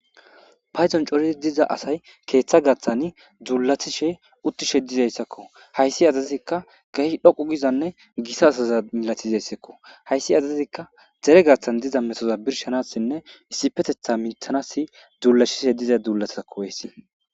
Paydon coora asay keththa gaththan dulatishe utidi diizaysako haysi asazika kehi dhoqqu gidayssane gita asazako haysi asazikka dere gaththan diza metoza birshshanasinne issipetethan miritanas duulatishe diza dulatako hayssi.